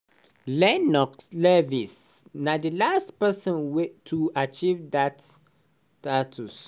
lennox lewis na di last pesin wey to achieve dat dat status.